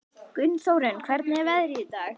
Gunnþórunn, hvernig er veðrið í dag?